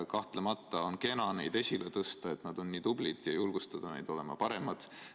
Kahtlemata on kena neid esile tõsta, et nad on nii tublid, ja julgustada neid olema paremad.